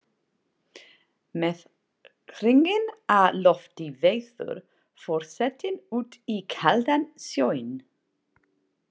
Með hringinn á lofti veður forsetinn út í kaldan sjóinn.